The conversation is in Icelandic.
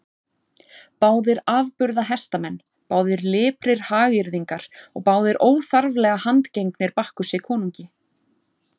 Báðir afburða hestamenn, báðir liprir hagyrðingar og báðir óþarflega handgengnir Bakkusi konungi.